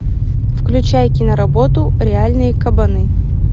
включай киноработу реальные кабаны